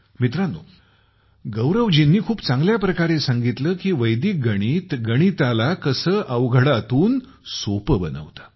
मित्रांनो गौरवजीनी खूप चांगल्या प्रकारे सांगितले की वैदिक गणित गणिताला कसे अवघडापासून सोपे बनवते